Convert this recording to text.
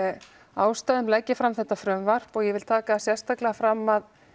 ástæðum legg ég fram þetta frumvarp og ég vil taka sérstaklega fram að